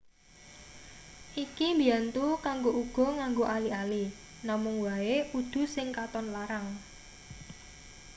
iki mbiyantu kanggo uga nganggo ali-ali namung wae udu sing katon larang